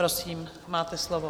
Prosím, máte slovo.